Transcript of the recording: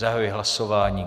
Zahajuji hlasování.